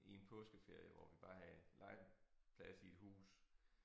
I en påskeferie hvor vi bare havde legeplads i hus